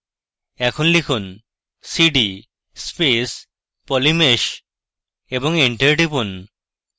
এখন লিখুন cd space polymesh এবং এন্টার টিপুন